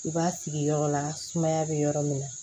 I b'a sigi yɔrɔ la sumaya be yɔrɔ min na